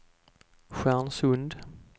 Stjärnsund